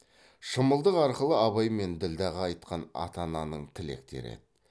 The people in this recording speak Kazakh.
шымылдық арқылы абай мен ділдәға айтқан ата ананың тілектері еді